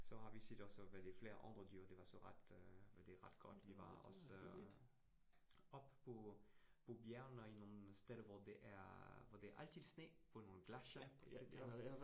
Så har vi set også, hvad det flere andre dyr det var så ret øh hvad det ret godt vi var også øh, oppe på på bjergene i nogle steder, hvor det er hvor det er altid sne, på nogle glaciere ja ja